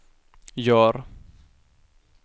gör